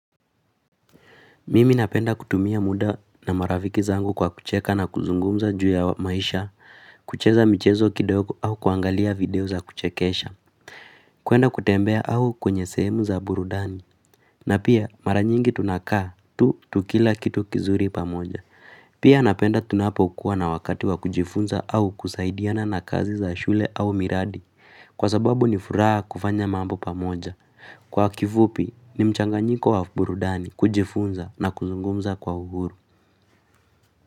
Mimi napenda kutumia muda na marafiki zangu kwa kucheka na kuzungumza juu ya maisha kucheza mchezo kidogo au kuangalia video za kuchekesha kuenda kutembea au kwenye sehemu za burudani na pia mara nyingi tunakaa tu tukila kitu kizuri pamoja pia napenda tunapokuwa na wakati wa kujifunza au kusaidiana na kazi za shule au miradi kwa sababu ni furaha kufanya mambo pamoja kwa kifupi ni mchanganyiko wa burudani kujifunza na kuzungumza kwa uhuru.